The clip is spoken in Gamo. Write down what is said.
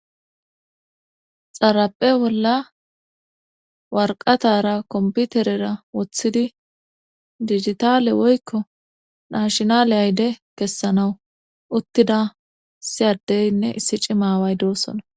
xarape bolla warqatara komputerera woththidi digitale woykko nashnale ayde kessanawu uttida siyaddeynne issi cimaway doosona